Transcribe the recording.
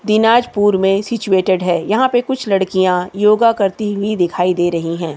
दिनाजपुरमें situated है यहाँ पर कुछ लड़कियाँ योगा करती हुई दिखाई दे रही हैं।